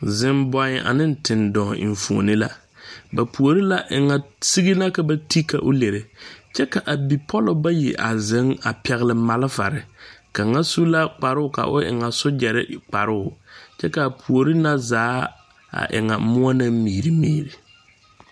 Zimboe ane tendɔɔ enfuoni la ba puori la eŋa sigi la ka ba ti ka o lere kyɛ ka a bipɔllɔ bayi zeŋ a pɛgle malfare kaŋa su la kparoo ka o eŋa sojare kparoo kyɛ ka a puori na zaa a e ŋa muo ne miri miri.